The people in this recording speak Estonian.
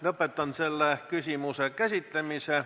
Lõpetan selle küsimuse käsitlemise.